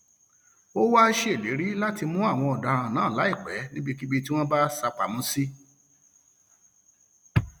ó wàá ṣèlérí láti mú àwọn ọdaràn náà láìpẹ níbikíbi tí wọn bá sá pamọ sí